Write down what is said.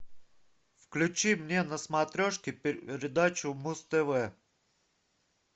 включи мне на смотрешке передачу муз тв